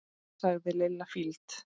sagði Lilla fýld.